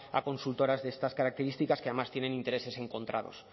a consultoras de estas características que además tienen intereses encontrados